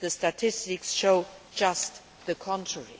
The statistics show just the contrary.